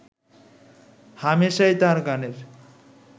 হামেশাই তাঁর গানের